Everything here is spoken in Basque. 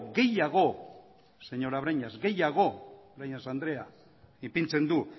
gehiago señora breñas gehiago breñas andrea ipintzen du